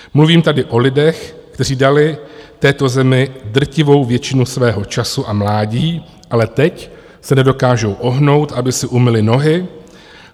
Mluvím tady o lidech, kteří dali této zemi drtivou většinu svého času a mládí, ale teď se nedokážou ohnout, aby si umyli nohy.